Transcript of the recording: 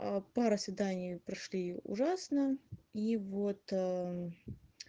пара свиданий прошли ужасно и вот